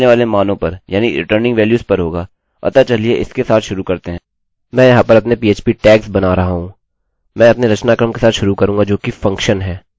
अतः चलिए हम इसके साथ शुरूआत करते हैं मैं यहाँ पर अपने php टैग्सtags बना रहा हूँ मैं अपने रचनाक्रम के साथ शुरू करूँगा जोकि फंक्शनfunction है